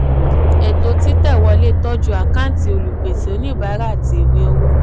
ètò títẹ̀ wọlé tọ́jú àkáǹtì olùpèsè oníbàárà àti ìwé owó.